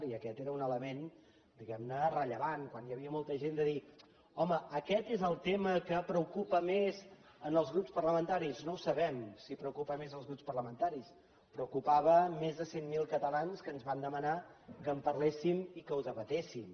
i aquest era un element diguem ne rellevant quan hi havia molta gent de dir home aquest és el tema que preocupa més en els grups parlamentaris no ho sabem si preocupa més als grups parlamentaris preocupava més de cent mil catalans que ens van demanar que en parléssim i que ho debatéssim